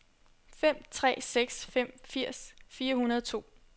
fem tre seks fem firs fire hundrede og to